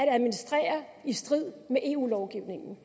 at administrere i strid med eu lovgivningen